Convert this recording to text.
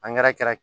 kɛra